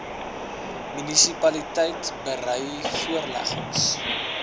munisipaliteite berei voorleggings